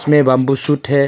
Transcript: में bamboo shoot है।